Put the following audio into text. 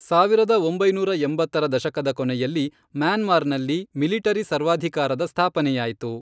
ಸಾವಿರದ ಒಂಬೈನೂರ ಎಂಬತ್ತರ ದಶಕದ ಕೊನೆಯಲ್ಲಿ ಮ್ಯಾನ್ಮಾರ್ನಲ್ಲಿ ಮಿಲಿಟರಿ ಸರ್ವಾಧಿಕಾರದ ಸ್ಥಾಪನೆಯಾಯಿತು.